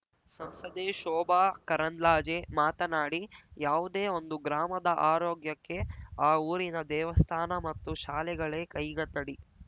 ಸಂಸದೆ ಶೋಭಾ ಕರಂದ್ಲಾಜೆ ಮಾತನಾಡಿ ಯಾವುದೇ ಒಂದು ಗ್ರಾಮದ ಆರೋಗ್ಯಕ್ಕೆ ಆ ಊರಿನ ದೇವಸ್ಥಾನ ಮತ್ತು ಶಾಲೆಗಳೇ ಕೈಗನ್ನಡಿ